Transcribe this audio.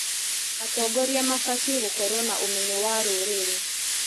Atongoria mabatiĩ gũkorwo na ũmenyo wa rũrĩrĩ.